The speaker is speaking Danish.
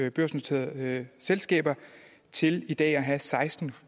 i børsnoterede selskaber til i dag at have seksten